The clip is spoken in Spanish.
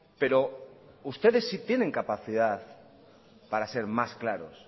pero ustedes sí tienen capacidad para ser más claros